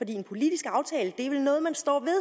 en politisk aftale er vel noget man står ved